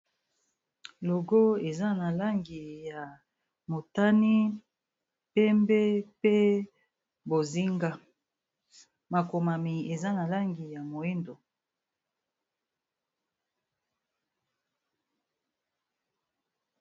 Logo, eza na langi ya motani, pembe pe bozinga. Makomami eza na langi ya moindo.